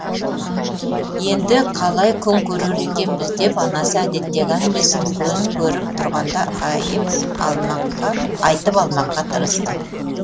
енді қалай күн көрер екенбіз деп анасы әдеттегі әңгімесін көз көріп тұрғанда айтып алмаққа тырысты